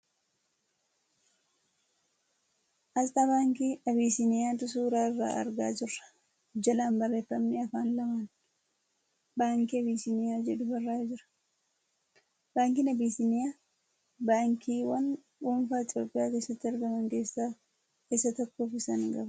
Asxaa baankii Abisiiniyaatu suura irraa argaa jirra. Jalaan barreeffamni afaan lamaan ' Baankii Abisiiniyaa ' jedhu barraa'ee jira. Baankiin Abisiiniyaa baankiiwwan dhuunfaa Itoophiyaa keessatti argam keessaa isaa tokko fi isa hangafaati.